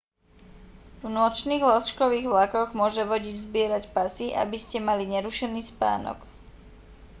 v nočných lôžkových vlakoch môže vodič zbierať pasy aby ste mali nerušený spánok